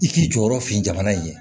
I k'i jɔyɔrɔ fin jamana in ye